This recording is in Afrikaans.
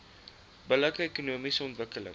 billike ekonomiese ontwikkeling